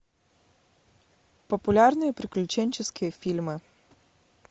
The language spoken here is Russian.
популярные приключенческие фильмы